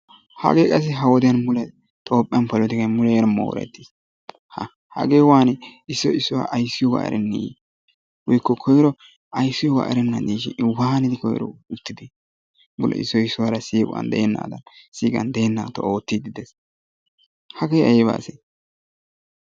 Hagee qassi ha wodiyan mule Toophphiyan qassi polotikay muleera moorettiis. Haa hagee waani issoy issuwa ayssiyogaa erenneeyye woykko ayssiyogaa erennaashin waanidi koyro uttide? Mule issoy issuwara siiquwan de'ennaadan oottiiddi de'ees. Hagee ayba asee?